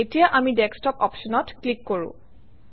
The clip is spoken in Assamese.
এতিয়া আমি ডেস্কটপ অপশ্যনত ক্লিক কৰোঁ